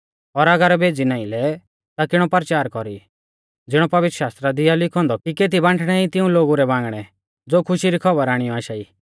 और अगर भेज़ी नाईं लै ता किणौ परचार कौरी ज़िणौ पवित्रशास्त्रा दी आ लिखौ औन्दौ कि केती बांठणै ई तिऊं लोगु रै बांगणै ज़ो खुशी री खौबर आणियौ आशा ई